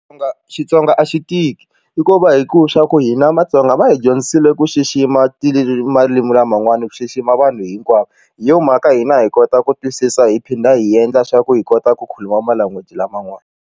Nga Xitsonga a xi tiki i ku va hi ku swa ku hina matsonga va hi dyondzisile ku xixima marimi laman'wani ku xixima vanhu hinkwavo hi yo mhaka hina hi kota ku twisisa hi phinda hi endla swa ku hi kota ku khuluma ma language laman'wana.